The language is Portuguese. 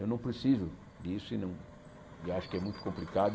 Eu não preciso disso e não e acho que é muito complicado.